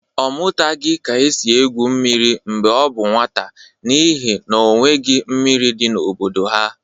Ọ mụtaghị ka esi egwu mmiri mgbe ọ bụ nwata n'ihi n'onweghị mmiri dị n'obodo ha.